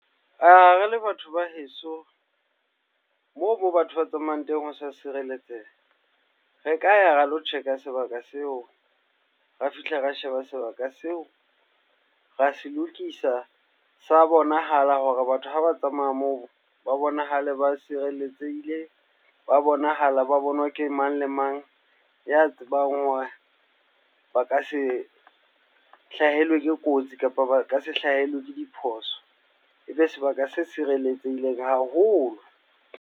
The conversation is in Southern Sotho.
Re le batho ba heso moo, moo batho ba tsamayang teng ho sa sireletseha. Re ka ya ra lo check-a sebaka seo, ra fihla ra sheba sebaka seo, ra se lokisa, sa bonahala hore batho ha ba tsamaya moo ba bonahale ba sireletsehile. Ba bonahala ba bonwa ke mang le mang ya tsebang hore ba ka se hlahelwe ke kotsi kapa ba ka se hlahelwe ke diphoso. Ebe sebaka se sireletsehileng haholo.